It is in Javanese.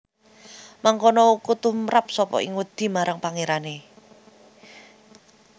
Mangkono uku tumrap sapa ing wedi marang Pangerane